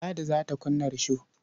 Ladi za ta kunna risho.